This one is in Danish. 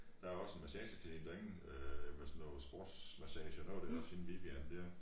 Der er også en massage klinik derinde øh med sådan noget sportsmassage og noget det er også hende Vivian dér